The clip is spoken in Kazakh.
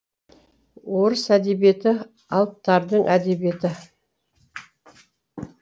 орыс әдебиеті алыптардың әдебиеті